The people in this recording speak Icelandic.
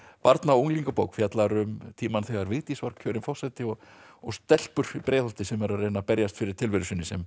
barna og unglingabók fjallar um tímann þegar Vigdís var kjörin forseti og og stelpur í Breiðholti sem eru að reyna að berjast fyrir tilveru sinni sem